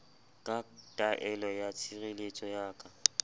ka taelo ya tshireletso ya